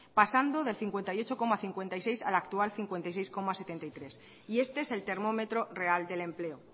pasando de cincuenta y ocho coma cincuenta y seis al actual cincuenta y seis coma setenta y tres y este es el termómetro real del empleo